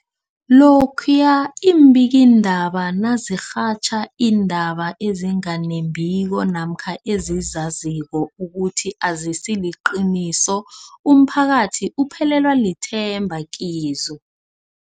Lokhuya iimbikiindaba nazirhatjha iindaba ezinga nembiko namkha ezizaziko ukuthi azisiliqiniso, umphakathi uphelelwa lithemba kizo.